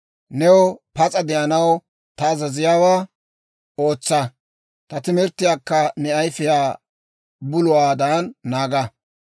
New pas'a de'anaw ta azaziyaawaa ootsa; ta timirttiyaakka ne ayifiyaa buluwaadan naaga.